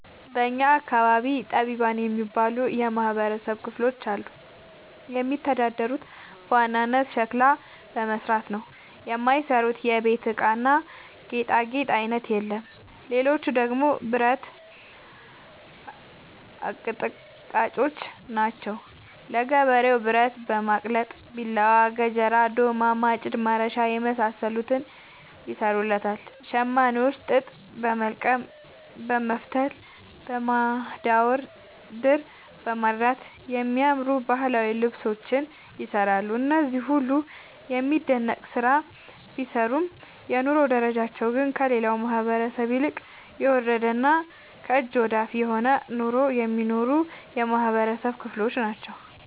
በእኛ አካባቢ ጠቢባን የሚባሉ የማህበረሰብ ክፍሎች አሉ። የሚተዳደሩት በዋናነት ሸክላ በመስራት ነው። የማይሰሩት የቤት እቃና ጌጣጌጥ አይነት የለም ሌቹ ደግሞ ብረት አቀጥቃጭጮች ናቸው። ለገበሬው ብረት በማቅለጥ ቢላዋ፣ ገጀራ፣ ዶማ፣ ማጭድ፣ ማረሻ የመሳሰሉትን ይሰሩለታል። ሸማኔዎች ጥጥ በወልቀም በመፍተል፣ በማዳወር፣ ድር በማድራት የሚያማምሩ ባህላዊ ልብሶችን ይሰራሉ። እነዚህ ሁሉም የሚደነቅ ስራ ቢሰሩም የኑሮ ደረጃቸው ግን ከሌላው ማህበረሰብ ይልቅ የወረደና ከእጅ ወዳፍ የሆነ ኑሮ የሚኖሩ የማህበረሰብ ክሎች ናቸው።